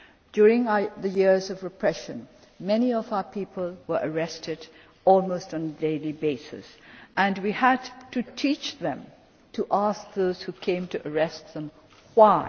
During the years of repression, many of our people were arrested almost on a daily basis, and we had to teach them to ask those who came to arrest them Why?'